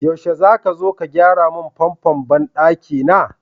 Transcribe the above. Yaushe zaka zo ka gyara mun famfon banɗaki na?